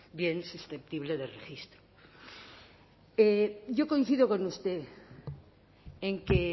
bien susceptible de registra yo coincido con usted en que